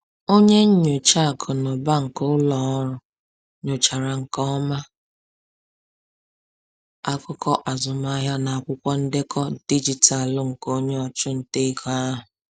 Onye nyocha akụ na ụba nke ụlọ ọrụ nyochachara nke ọma akụkọ azụmahịa na akwụkwọ ndekọ dijitalụ nke onye ọchụnta ego ahụ.